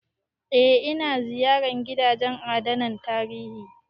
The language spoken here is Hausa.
Eh, ina ziyarar gidajen adana tarihi